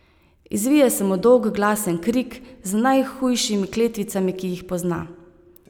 Izvije se mu dolg glasen krik z najhujšimi kletvicami, ki jih pozna.